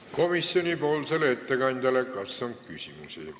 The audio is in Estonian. Kas komisjoni ettekandjale on küsimusi?